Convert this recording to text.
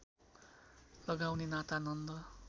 लगाउने नाता नन्द